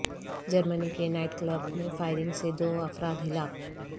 جرمنی کے night club میں firing سے دو افراد ہلاک